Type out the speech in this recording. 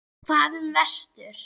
Hvað um vestur?